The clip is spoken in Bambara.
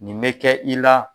Nin me kɛ i la